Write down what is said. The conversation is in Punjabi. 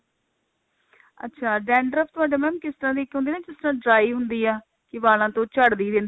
ਅੱਛਾ dandruff ਤੁਹਾਡੇ mam ਕਿਸ ਤਰ੍ਹਾਂ ਦੀ ਹੁੰਦੀ ਹੈ ਇੱਕ ਤਾਂ dry ਹੁੰਦੀ ਆ ਕਿ ਵਾਲਾਂ ਤੋਂ ਚੜਦੀ ਰਹਿੰਦੀ